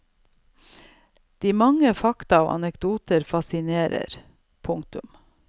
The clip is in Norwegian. De mange fakta og anekdoter fascinerer. punktum